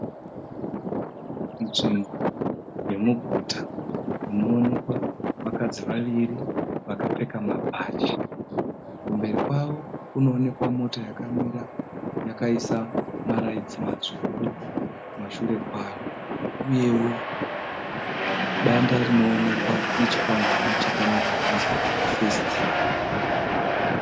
Nzvimbo yemuguta inoonekwa vakadzi vaviri vakapfeka mabhachi. Kumberi kwavo kunowonekwa mota yakamira yakaisa maraitsi matsvuku kumashure kwayo uyewo danda rinowonekwa nechikwangwani chakanyorwa kunzi FIRST.